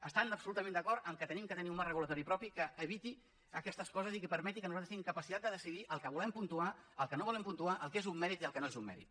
estan absolutament d’acord que hem de tenir un marc regulador propi que eviti aquestes coses i que permeti que nosaltres tinguem capacitat de decidir el que volem puntuar el que no volem puntuar el que és un mèrit i el que no és un mèrit